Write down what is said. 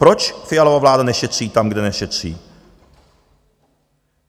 Poč Fialova vláda nešetří tam, kde nešetří?